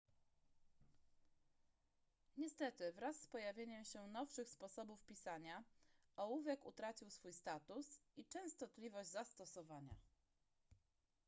niestety wraz z pojawieniem się nowszych sposobów pisania ołówek utracił swój status i częstotliwość zastosowania